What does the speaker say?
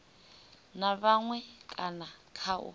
na maṅwe kana kha u